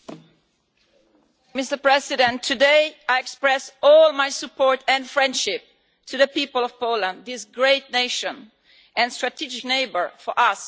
Mr President, today I express all my support for, and friendship towards, the people of Poland this great nation and strategic neighbour to us across the Baltic.